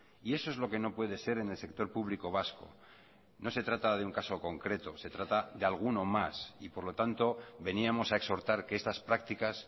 y eso es lo que no puede ser en el sector público vasco no se trata de un caso concreto se trata de alguno más y por lo tanto veníamos a exhortar que estas prácticas